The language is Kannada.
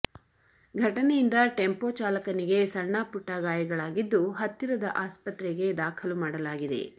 ಘಟನೆಯಿಂದ ಟೆಂಪೋ ಚಾಲಕನಿಗೆ ಸಣ್ಣ ಪುಟ್ಟ ಗಾಯಗಳಾಗಿದ್ದು ಹತ್ತಿರದ ಆಸ್ಪತ್ರೆಗೆ ದಾಖಲು ಮಾಡಲಾಗಿದೆ